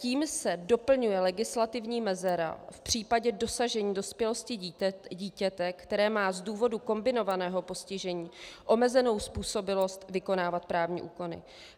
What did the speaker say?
Tím se doplňuje legislativní mezera v případě dosažení dospělosti dítěte, které má z důvodu kombinovaného postižení omezenou způsobilost vykonávat právní úkony.